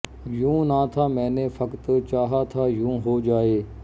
ਯੂੰ ਨਾ ਥਾ ਮੈਂ ਨੇ ਫ਼ਕਤ ਚਾਹਾ ਥਾ ਯੂੰ ਹੋ ਜਾਏ